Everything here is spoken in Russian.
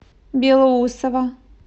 белоусово